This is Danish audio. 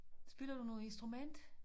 Spiller du noget instrument